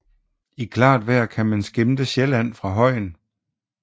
I klart vejr kan man skimte Sjælland fra højen